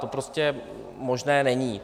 To prostě možné není.